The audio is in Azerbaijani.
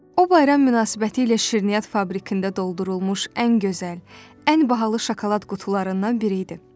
O bayram münasibətilə şirniyyat fabrikində doldurulmuş ən gözəl, ən bahalı şokolad qutularından biri idi.